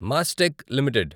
Mastek limited